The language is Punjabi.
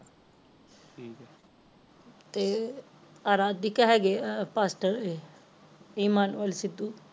ਤੇ ਅਰਾਦਿਕ ਹੈਗੇ ਆ ਫਾਸਤਾਲ ਵੇ ਇਮਾਨਵਲ ਸਿੱਧੂ